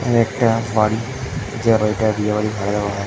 এখানে একটা বাড়ি যে বাড়ি টা বিয়ে বাড়ি ভাড়া দেওয়া হয়।